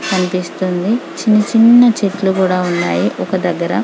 కనిపిస్తుంది చిన్న చిన్న చెట్లు కూడా ఉన్నాయ్ ఒక దెగ్గర --